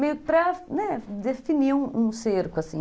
Meio para definir um cerco, assim.